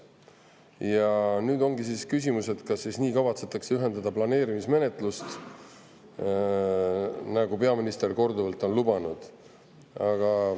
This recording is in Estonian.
Ja nüüd ongi küsimus, kas nii kavatsetakse lühendada planeerimismenetlust, nagu peaminister korduvalt on lubanud.